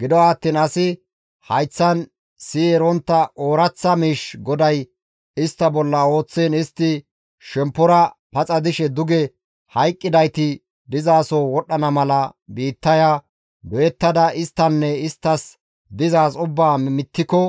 Gido attiin asi hayththan siyi erontta ooraththa miish GODAY istta bolla ooththiin istti shemppora paxa dishe duge hayqqidayti dizaso wodhdhana mala biittaya doyettada isttanne isttas dizaaz ubbaa mittiko